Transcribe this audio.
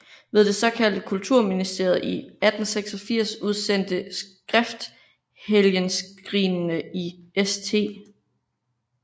Ved det såkaldte Kultusministeriet i 1886 udsendte skrift Helgenskrinene i St